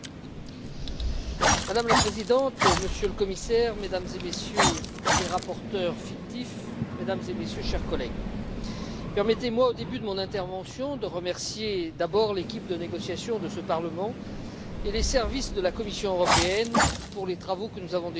Madame la Présidente, Monsieur le Commissaire, Mesdames et Messieurs les rapporteurs fictifs, Mesdames et Messieurs, chers collègues, permettez moi dès à présent de remercier l'équipe de négociation de ce Parlement et les services de la Commission européenne pour les travaux que nous avons conduits ensemble.